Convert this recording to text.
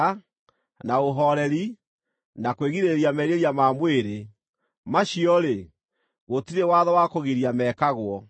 na ũhooreri, na kwĩgirĩrĩria merirĩria ma mwĩrĩ. Macio-rĩ, gũtirĩ watho wa kũgiria mekagwo.